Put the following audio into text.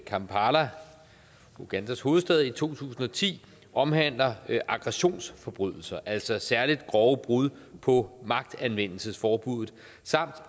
kampala ugandas hovedstad i to tusind og ti omhandler aggressionsforbrydelser altså særlig grove brud på magtanvendelsesforbuddet samt